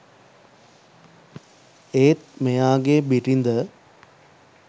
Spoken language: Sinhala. ඒත් මෙයාගේ බිරිද